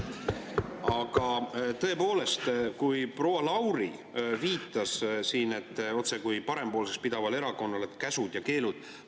Aga tõepoolest, proua Lauri viitas siin, et end otsekui parempoolseks pidaval erakonnal on käsud ja keelud.